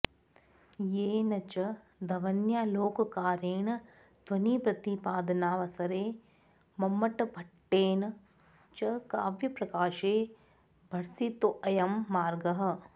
येन च ध्वन्यालोककारेण ध्वनिप्रतिपादनावसरे मम्मटभट्टेन च काव्यप्रकाशे भर्सितोऽयं मार्गः